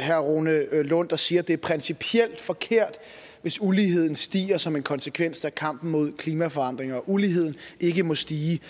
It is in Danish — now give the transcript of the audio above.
herre rune lund der siger at det er principielt forkert hvis uligheden stiger som en konsekvens af kampen mod klimaforandringer og at uligheden ikke må stige